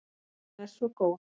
Hún er svo góð.